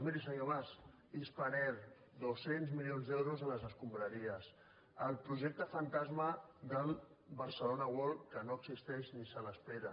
miri senyor mas spanair dos cents milions d’euros a les escombraries el projecte fantasma del barcelona world que no existeix ni se l’espera